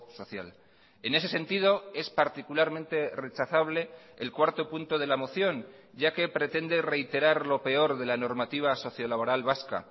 social en ese sentido es particularmente rechazable el cuarto punto de la moción ya que pretende reiterar lo peor de la normativa socio laboral vasca